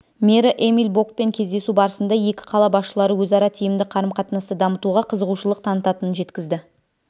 мэрі эмиль бокпен кездесу барысында екі қала басшылары өзара тиімді қарым-қатынасты дамытуға қызығушылық танытатынын жеткізді